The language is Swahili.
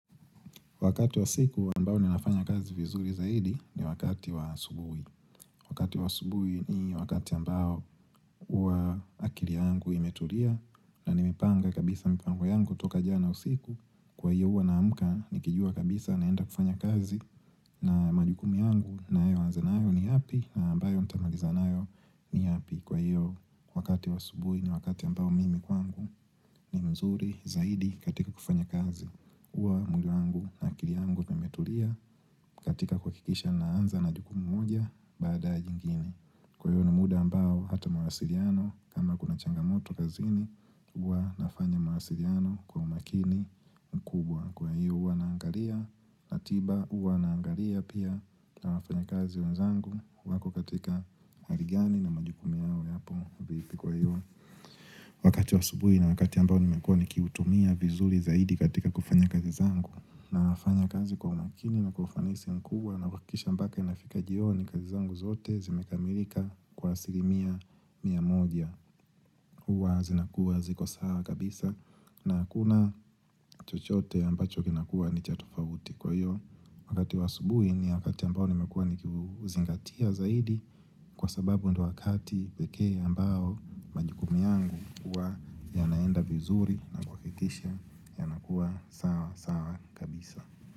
Wakati wa siku ambao ninafanya kazi vizuri zaidi ni wakati wa asubuhi. Wakati wa asubuhi ni wakati ambao hua akili yangu imetulia na nimipanga kabisa mipango yangu toka jana usiku. Kwa hiyo hua naamka nikijua kabisa naenda kufanya kazi na majukumu yangu nayoanza ni yapi na ambayo ntamaliza nayo ni yapi. Kwa hiyo wakati wa asubuhi ni wakati ambao mimi kwangu ni mzuri zaidi katika kufanya kazi hua mwili na akili yangu nimetulia. Katika kuhakikisha naanza na jukumu moja bada zingine Kwa hiyo ni muda ambao hata mawasiliano kama kuna changamoto kazini hua nafanya mawasiliano kwa umakini mkubwa kwa hiyo hua naangalia ratiba hua naangalia pia kwa wafanya kazi wenzangu wako katika hali gani na majukumu yao yapo vipi kwa hiyo wakati wa asubuhi na wakati ambao nimekua nikiutumia vizuri zaidi katika kufanya kazi zangu na wafanya kazi kwa umakini na kwa ufanisi mkubwa na kuhahakisha ambapo mahitaji yao na kazi zangu zote zimekamilika kwa asilimia mia moja hua zinakua ziko sawa kabisa na hakuna chochote ambacho kinakuwa nichatofauti kwa hiyo wakati wa asubuhi ni wakati ambao nimekua ni kiuzingatia zaidi kwa sababu ndo wakati pekee ambao majikumu yangu hua yanaenda vizuri na kuhakikisha yanakua sawa sawa kabisa.